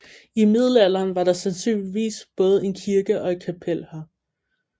I middelalderen var der sandsynligvis både en kirke og et kapel her